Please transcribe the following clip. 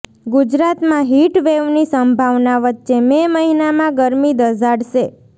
ગુજરાતમાં હિટ વેવની સંભાવના વચ્ચે મે મહિનામાં ગરમી દઝાડશે